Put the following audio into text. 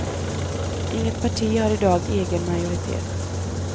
Inget parti har i dag egen majoritet.